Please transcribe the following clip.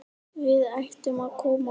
Við ættum að koma okkur.